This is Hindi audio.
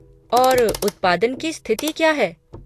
और उत्पादन की स्थिति क्या है?